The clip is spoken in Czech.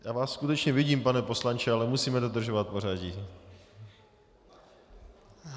Já vás skutečně vidím, pane poslanče, ale musím dodržovat pořadí.